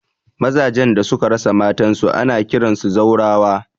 Maza jan da suka rasa matan su ana kiransu zaurawa